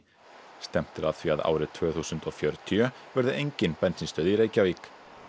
stefnt er að því að árið tvö þúsund og fjörutíu verði engin bensínstöð í Reykjavík